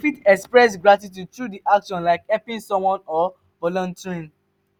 you fit express gratitude through your actions like helping someone or volunteering.